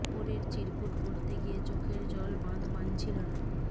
অপরের চিরকুট পড়তে গিয়ে চোখের জল বাঁধ মানছিল না